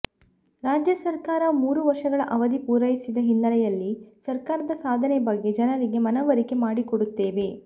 ರಾಜ್ಯ ಸರಕಾರ ಮೂರು ವರ್ಷಗಳ ಅವಧಿ ಪೂರೈಸಿದ ಹಿನ್ನೆಲೆಯಲ್ಲಿ ಸರಕಾರದ ಸಾಧನೆ ಬಗ್ಗೆ ಜನರಿಗೆ ಮನವರಿಕೆ ಮಾಡಿಕೊಡುತ್ತೇವೆ